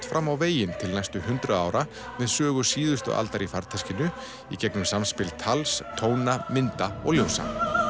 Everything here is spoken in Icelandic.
fram á veginn til næstu hundrað ára með sögu síðustu aldar í farteskinu í gegnum samspil tals tóna mynda og ljósa